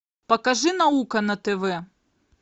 покажи наука на тв